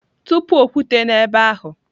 Tụpụ okwute n'ebe ahụ!